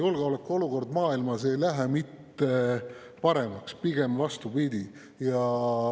Julgeolekuolukord maailmas ei lähe mitte paremaks, pigem vastupidi.